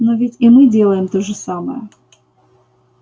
но ведь и мы делаем то же самое